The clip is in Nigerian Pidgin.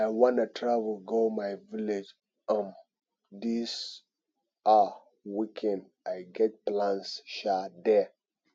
i wan travel go my village um dis um weekend i get plans um there